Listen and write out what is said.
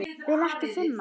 Vil ekki finna.